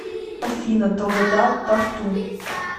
афина долгота тарту